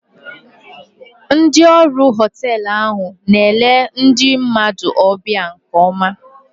Ndị ọrụ họteelụ ahụ na-ele ndị mmadụ ọbịa nke oma